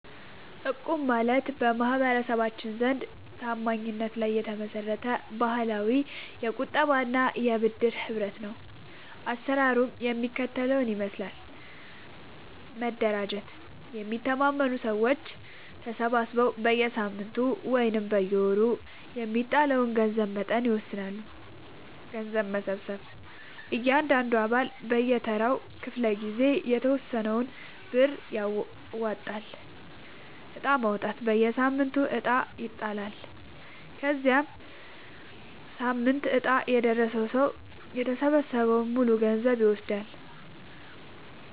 እቁብ ማለት በማህበረሰባችን ዘንድ ታማኝነት ላይ የተመሰረተ ባህላዊ የቁጠባና የብድር ህብረት ነው። አሰራሩ የሚከተለውን ይመስላል፦ መደራጀት፦ የሚተማመኑ ሰዎች ተሰባስበው በየሳምንቱ ወይም በየወሩ የሚጣለውን የገንዘብ መጠን ይወስናሉ። ገንዘብ መሰብሰብ፦ እያንዳንዱ አባል በየተራው ክፍለ-ጊዜ የተወሰነውን ብር ያዋጣል። ዕጣ ማውጣት፦ በየሳምንቱ ዕጣ ይጣላል። የዚያ ሳምንት ዕጣ የደረሰው ሰው የተሰበሰበውን ሙሉ ገንዘብ ይወስዳል።